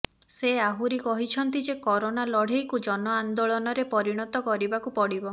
ସେ ଆହୁରି କହିଛନ୍ତି ଯେ କରୋନା ଲଢ଼େଇକୁ ଜନଆନ୍ଦୋଳନରେ ପରିଣତ କରିବାକୁ ପଡ଼ିବ